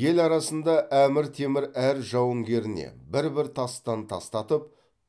ел арасында әмір темір әр жауынгеріне бір бір тастан тастатып